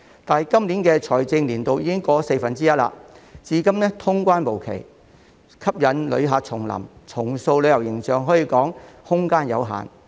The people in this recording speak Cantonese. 但是，今年的財政年度已經過了四分之一，至今通關無期，吸引旅客重臨和重塑旅遊形象可說是空間有限。